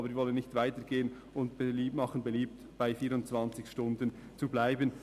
Aber wir wollen nicht weiter gehen und machen beliebt, bei 24 Stunden zu bleiben.